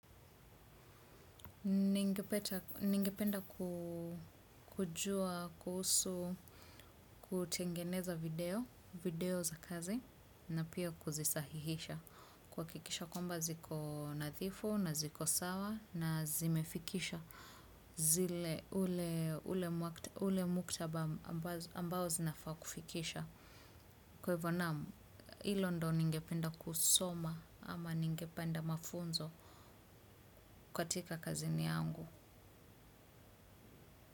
Ningependa kujua, kuhusu, kutengeneza video, video za kazi na pia kuzisahihisha. Kuhakikisha kwamba ziko nadhifu na ziko sawa na zimefikisha. Zile ule muktaba ambazo zinafaa kufikisha. Kwa hivyo naam hilo ndo ningependa kusoma ama ningependa mafunzo katika kazini yangu.